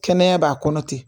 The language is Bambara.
Kɛnɛya b'a kɔnɔ ten